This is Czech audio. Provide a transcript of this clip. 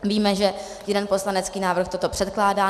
Víme, že jeden poslanecký návrh toto předkládá.